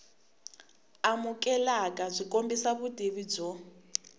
amukeleka byi kombisa vutivi byo